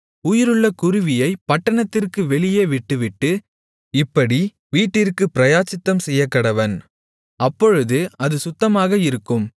உயிருள்ள குருவியைப் பட்டணத்திற்கு வெளியிலே விட்டுவிட்டு இப்படி வீட்டிற்குப் பிராயச்சித்தம் செய்யக்கடவன் அப்பொழுது அது சுத்தமாக இருக்கும்